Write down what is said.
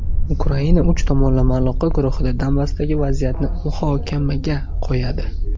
Ukraina uch tomonlama aloqa guruhida Donbassdagi vaziyatni muhokamaga qo‘yadi.